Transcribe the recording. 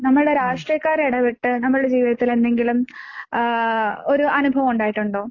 നമ്മുടെ രാഷ്ട്രീയക്കാര് ഇടപെട്ട് നമ്മളുടെ ജീവിതത്തിലെന്തെങ്കിലും ആഹ് ഒരു അനുഭവം ഉണ്ടായിട്ടുണ്ടോ?